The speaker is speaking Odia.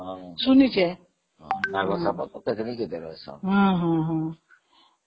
ହଁ ଶୁଣିଛି ହଁନାଗସାପ, ଆହୁରି କେତେ ବିଷଧର ସାପ ହଁ ହଁ